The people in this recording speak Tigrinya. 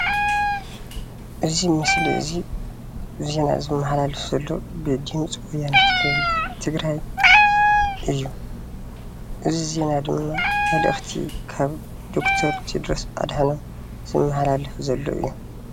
እዚ ምስሊ እዚ ዜና ዝመሓላለፈሉ ብድምፂ ወያነ ትግራይ እዩ፣ እዚ ዜና ድማ መልእክቲ ካብ ዶ/ር ቴድሮስ ኣድሐኖም ዝመሓላለፍ ዘሎ እዩ፡፡